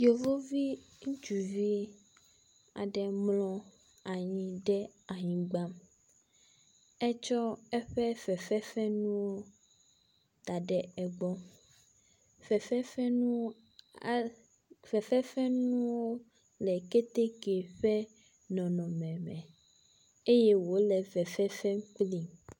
Yevuvi ŋutsuvi aɖe mlɔ anyi ɖe anyigba, etsɔ eƒe fefe fenuwo da ɖe egbɔ. Fefe fe nuwo a..fefe fe nuwo le keteke ƒe nɔnɔme me eye wole fefe fem kpli.